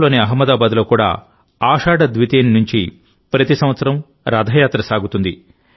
గుజరాత్లోని అహ్మదాబాద్లో కూడా ఆషాఢ ద్వితీయ నుంచి ప్రతి సంవత్సరం రథయాత్ర సాగుతుంది